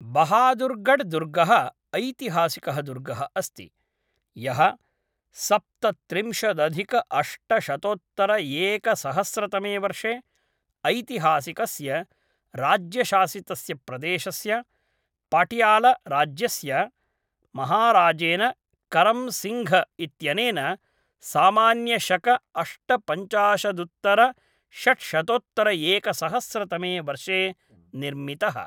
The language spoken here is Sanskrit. बहादुर्गढ् दुर्गः ऐतिहासिकः दुर्गः अस्ति, यः सप्तत्रिंशतदधिकाष्टशतोत्तरएकसहस्रतमे वर्षे ऐतिहासिकस्य राज्यशासितस्य प्रदेशस्य पटियालाराज्यस्य महाराजेन करं सिङ्घ् इत्यनेन सामान्य शक अष्टपञ्चाशदुत्तरषड्शतोत्तरएकसहस्रतमे वर्षे निर्मितः।